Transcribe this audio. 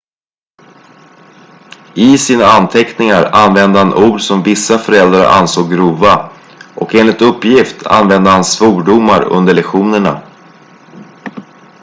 i sina anteckningar använde han ord som vissa föräldrar ansåg grova och enligt uppgift använde han svordomar under lektionerna